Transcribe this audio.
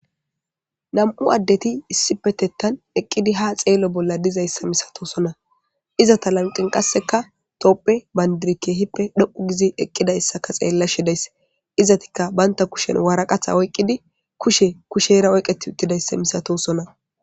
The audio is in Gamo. nam7u addeti issipetettan eqqidi ha xeello bolla dizayssa misatosona izata lamqin qasseka topphe bandirikke hippe dho7u gizi eqqida issaka xeella shidays izatikka baynta kushen waaraqatha oyqqidi kushe kushe era oyqeti uttidayssa misatosona